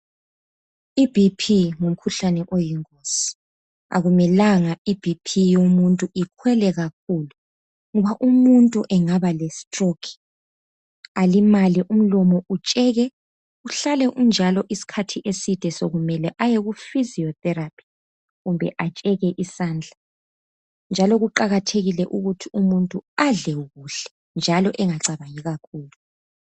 IBP ngumkhuhlane oyingozi .Akumelanga I BP yomuntu ikhwele kakhulu ngoba umuntu engaba lestroke alimale imlomo utsheke .Uhlale unjalo iskhathi eside sokumele aye ku physiotherapy kumbe atsheke isandla .Njalo kuqakathekile ukuthi umuntu adle kuhle njalo engacabangi kakhulu .